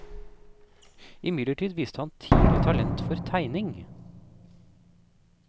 Imidlertid viste han tidlig talent for tegning.